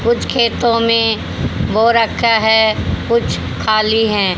कुछ खेतों में बो रखा है कुछ खाली हैं।